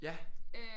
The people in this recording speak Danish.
Ja